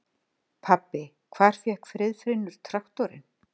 Pabbi, hvar fékk Friðfinnur traktorinn?